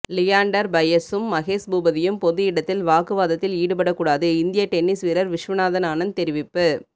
லியாண்டர் பயஸூம் மகேஷ் பூபதியும் பொது இடத்தில் வாக்குவாதத்தில் ஈடுபட கூடாது இந்திய டென்னிஸ் வீரர் விஸ்வநாதன் ஆனந்த் தெரிவிப்பு